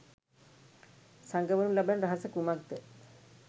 සගවනු ලබන රහස කුමක්ද?